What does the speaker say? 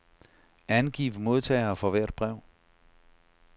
Angiv modtagere for hvert brev.